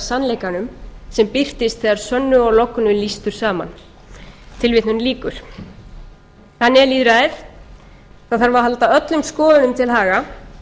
sannleikanum sem birtust þegar sönnu og lognu lýstur saman þannig er lýðræðið það þarf að halda öllum skoðunum til haga